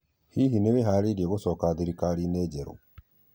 Hihi nĩ wĩharĩirie gũcoka thirikari-inĩ jerũ?